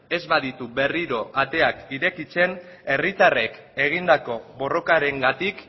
ez baditu berriro ateak irekitzen herritarrek egindako borrokarengatik